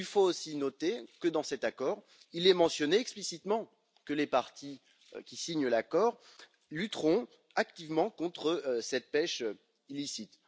Il faut aussi noter que dans cet accord, il est mentionné explicitement que les partis qui signent l'accord lutteront activement contre cette pêche illicite.